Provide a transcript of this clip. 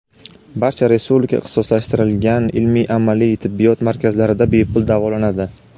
barcha respublika ixtisoslashtirilgan ilmiy-amaliy tibbiyot markazlarida bepul davolanadi;.